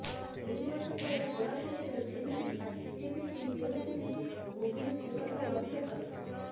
ଦୁଇବର୍ଷ ତଳେ କୋରାପୁଟରେ ଯେମିତି ଛାଟିପିଟି ହେଉଥିଲି ଗୁଡୁଲି ସେ କଥା ଲକ୍ଷ କରିଛି